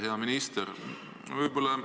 Hea minister!